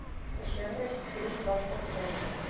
жирность три и два процента